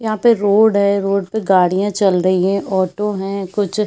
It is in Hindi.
यहाँ पे रोड है रोड पे गाड़ियाँ चल रहीं हैं ऑटो हैं कुछ--